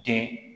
Den